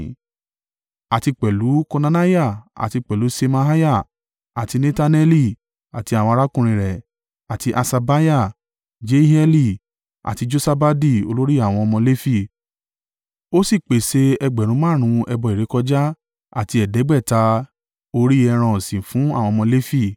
Àti pẹ̀lú Konaniah àti pẹ̀lú Ṣemaiah àti Netaneli, àti àwọn arákùnrin rẹ̀, àti Haṣabiah, Jeieli àti Josabadi olórí àwọn ọmọ Lefi, ó sì pèsè ẹgbẹ̀rún márùn-ún (5,000) ẹbọ ìrékọjá àti ẹ̀ẹ́dẹ́gbẹ̀ta (500) orí ẹran ọ̀sìn fún àwọn ọmọ Lefi.